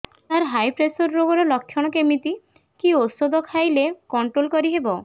ସାର high pressure ରୋଗର ଲଖଣ କେମିତି କି ଓଷଧ ଖାଇଲେ କଂଟ୍ରୋଲ କରିହେବ